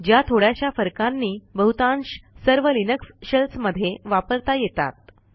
ज्या थोड्याशा फरकांनी बहुतांश सर्व लिनक्स शेल्स मध्ये वापरता येतात